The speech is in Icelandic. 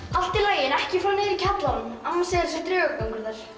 allt í lagi en ekki fara niður í kjallarann amma segir að sé draugagangur þar